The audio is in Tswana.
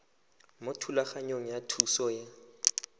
mo thulaganyong ya thuso y